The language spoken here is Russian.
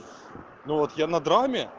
ну вот я на драме